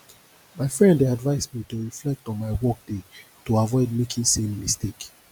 my friend dey advise me to reflect on my workday to avoid making same mistake